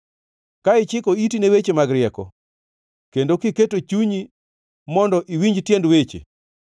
ka ichiko iti ni weche mag rieko kendo kiketo chunyi mondo iwinj tiend weche,